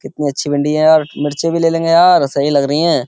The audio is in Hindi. कितनी अच्छी मंडी है यार। मिर्चे भी ले लेंगे यार। सही लग रही हैं।